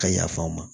Ka yafa n ma